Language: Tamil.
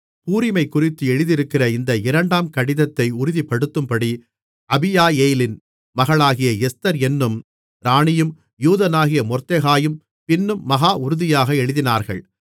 பூரிமைக்குறித்து எழுதியிருக்கிற இந்த இரண்டாம் கடிதத்தை உறுதிப்படுத்தும்படி அபியாயேலின் மகளாகிய எஸ்தர் என்னும் ராணியும் யூதனாகிய மொர்தெகாயும் பின்னும் மகா உறுதியாக எழுதினார்கள்